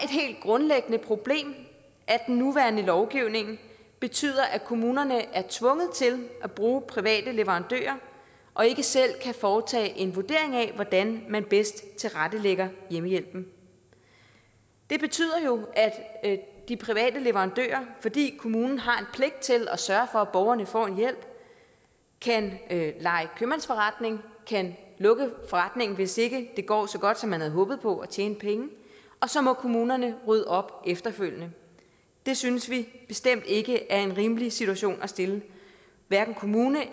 helt grundlæggende problem at den nuværende lovgivning betyder at kommunerne er tvunget til at bruge private leverandører og ikke selv kan foretage en vurdering af hvordan man bedst tilrettelægger hjemmehjælpen det betyder jo at de private leverandører fordi kommunen har en pligt til at sørge for at borgerne får en hjælp kan lege købmandsforretning og kan lukke forretningen hvis ikke det går så godt som man havde håbet på at tjene penge og så må kommunerne rydde op efterfølgende det synes vi bestemt ikke er en rimelig situation at stille kommunerne